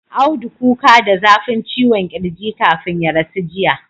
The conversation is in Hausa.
Audu kuka da zafin ciwon kirji kafin ya rasu jiya